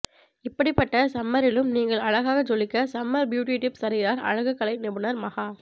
இப்படிப்பட்ட சம்மரிலும் நீங்கள் அழகாக ஜொலிக்க சம்மர் பியூட்டி டிப்ஸ் தருகிறார் அழகுக்கலை நிபுணர் மஹா